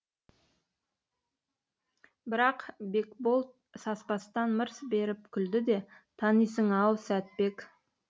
бірақ бекбол саспастан мырс беріп күлді де танисың ау сәтбек